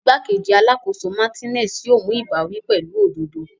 Igbakeji Alakoso Martinez yoo mu ibawi pẹlu ododo.